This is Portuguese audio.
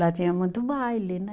Lá tinha muito baile, né?